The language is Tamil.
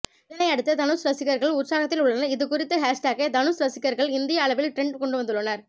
இதனை அடுத்து தனுஷ் ரசிகர்கள் உற்சாகத்தில் உள்ளனர் இதுகுறித்து ஹேஷ்டேக்கை தனுஷ் ரசிகர்கள் இந்திய அளவில் டிரெண்ட் கொண்டுவந்துள்ளனர்